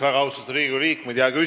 Väga austatud Riigikogu liikmed!